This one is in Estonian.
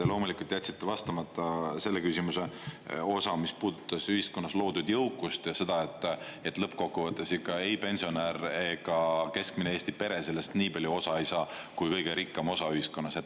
Te loomulikult jätsite vastamata selle küsimuse osa, mis puudutas ühiskonnas loodud jõukust ja seda, et lõppkokkuvõttes ikka ei pensionär ega keskmine Eesti pere sellest nii palju osa ei saa, kui kõige rikkam osa ühiskonnas.